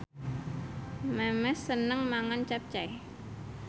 Memes seneng mangan capcay